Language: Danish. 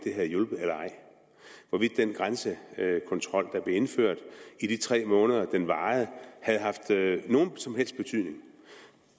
den grænsekontrol der blev indført i de tre måneder den varede havde haft nogen som helst betydning